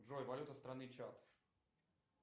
джой валюта страны чад